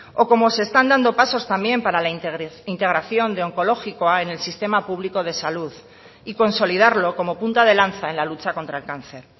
o como se están dando pasos también para la integración de onkologikoa en el sistema público de salud y consolidarlo como punta de lanza en la lucha contra el cáncer